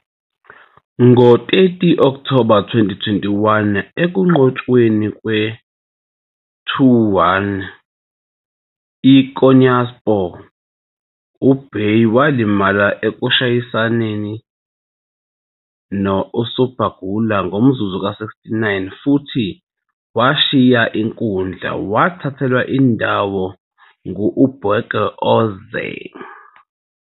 Ngo-30 October 2021, ekunqotshweni kwe-2-1 e-IKonyaspor, uBayдыр walimala ekushayisaneni USerdar Gürler ngomzuzu we-69 futhi washiya inkundla, wathathelwa indawo ngUBerke Özer.